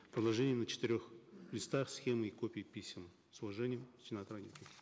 приложение на четырех листах схемы и копии писем с уважением сенатор